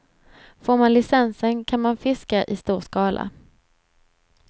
Får man licensen, kan man fiska i stor skala.